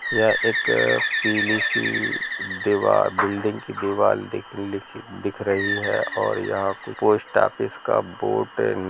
यह एक पिली सी दिवार बिल्डिंग की दीवाल दिखी लिखी दिख रही है और यह पे पोस्ट ऑफिस का बोर्ड नजर--